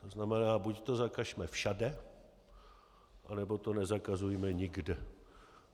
To znamená, buď to zakažme všude, nebo to nezakazujme nikde.